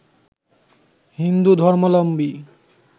Hindu ধর্মালম্বী